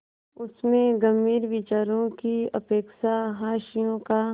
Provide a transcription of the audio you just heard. उसमें गंभीर विचारों की अपेक्षा हास्य का